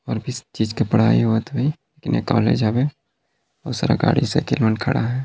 और किस चीज की पढ़ाई होवत हो ही ये कॉलेज हवे बहुत सारा गाड़ी साईकिल मन खडा है।